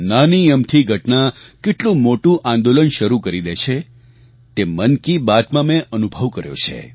નાની અમથી ઘટના કેટલું મોટું આંદોલન શરૂ કરી દે છે તે મન કી બાતમાં મેં અનુભવ કર્યો છે